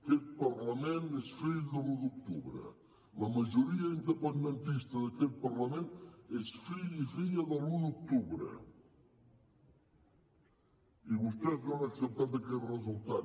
aquest parlament és fill de l’un d’octubre la majoria independentista d’aquest parlament és fill i filla de l’un d’octubre i vostès no han acceptat aquest resultat